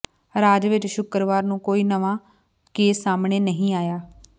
ਰਾਜ ਵਿੱਚ ਸ਼ੁੱਕਰਵਾਰ ਨੂੰ ਕੋਈ ਨਵਾਂ ਕੇਸ ਸਾਹਮਣੇ ਨਹੀਂ ਆਇਆ